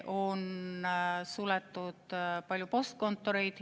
On suletud palju postkontoreid.